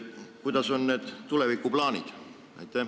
Millised on tulevikuplaanid?